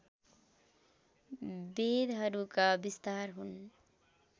वेदहरूका विस्तार हुन्